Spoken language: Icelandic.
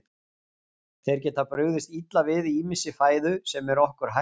Þeir geta brugðist illa við ýmissi fæðu sem er okkur hættulaus.